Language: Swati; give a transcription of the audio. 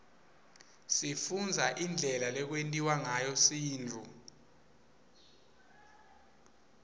sifundza indlela lekwentiwa ngayo sintfu